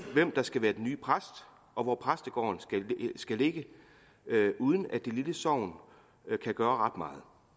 hvem der skal være den nye præst og hvor præstegården skal ligge uden at det lille sogn kan gøre